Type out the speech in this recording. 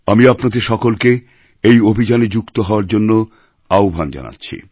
আমি আপনাদের সকলকে এই অভিযানে যুক্ত হওয়ার জন্য আহ্বান জানাচ্ছি